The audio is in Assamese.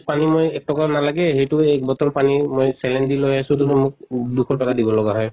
পানী মই এক টকাও নালাগে সেইতো এক bottle পানী মই saline দি লৈ আছো তʼ মোক দুশ টকা দিব লগা হয়।